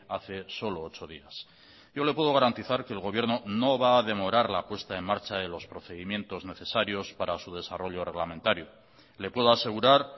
hace solo ocho días yo le puedo garantizar que el gobierno no va a demorar la puesta en marcha de los procedimientos necesarios para su desarrollo reglamentario le puedo asegurar